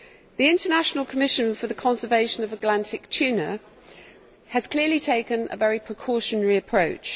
The International Commission for the Conservation of Atlantic Tunas has clearly taken a very precautionary approach.